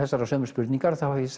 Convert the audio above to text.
sömu spurningar þá hef ég